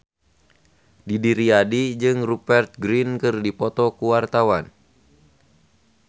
Didi Riyadi jeung Rupert Grin keur dipoto ku wartawan